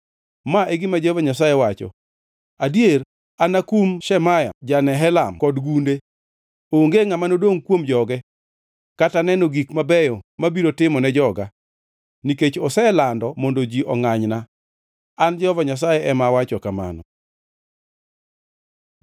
ma e gima Jehova Nyasaye wacho: Adier, anakum Shemaya ja-Nehelam kod gunde. Onge ngʼama nodongʼ kuom joge, kata neno gik mabeyo mabiro timo ne joga, nikech oselando mondo ji ongʼanyna. An Jehova Nyasaye ema awacho kamano.’ ”